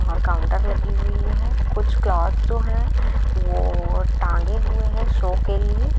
यहाँ कांउटर लगी हुए है कुछ क्लोथ्स जो हैं वो टांगे हुए हैं शो के लिए।